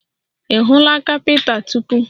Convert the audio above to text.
Ị hụla caliper tupu?